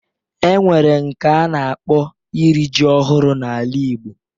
E nwere nke a na-akpọ iri ji ọhụrụ n'ala igbo